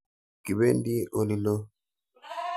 Kipendi olilo.